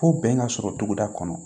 Fo bɛn ka sɔrɔ togoda kɔnɔ